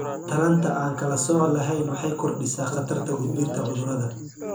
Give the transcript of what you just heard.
Taranta aan kala sooc lahayn waxay kordhisaa khatarta gudbinta cudurrada.